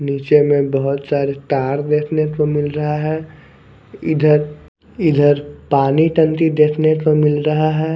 नीचे में बहोत सारे तार देखने को मिल रहा है इधर इधर पानी टंकी देखने को मिल रहा है।